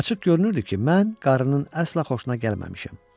Açıq görünürdü ki, mən qarının əsla xoşuna gəlməmişəm.